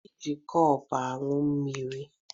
E ji kọpụ añụ mmiri